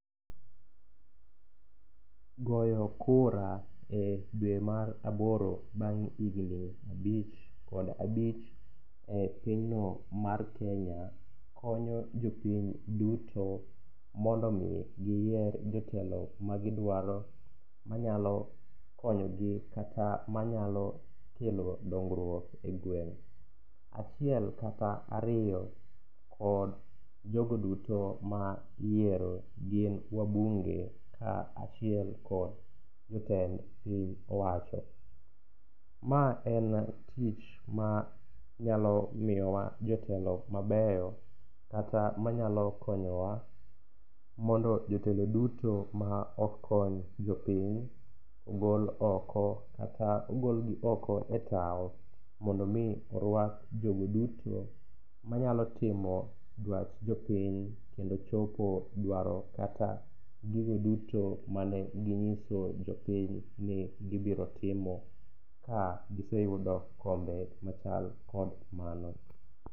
Goyo kura e dwe mar aboro bang' higni abich kod abich e pinyno mar Kenya konyo jopiny duto mondo omi giyier jotelo magidwaro, manyalo konyogi kata manyalo kelo dongruok e gweng'. Achiel kata ariyo kod jogo duto ma iyiero gin wabunge ka achiel kod jotend piny owacho. Ma en tich ma nyalo miyowa jotelo mabeyo kata manyalo konyowa mondo jotelo duto ma ok kony jopiny ogol oko, kata ogolgi oko e tawo, mondo omi orwak jogo duto manyalo timo dwach jopiny kendo chopo dwaro kata gigo duto ma ne ginyiso jopiny ni gibiro timo ka giseyudo kombe machal kod mano.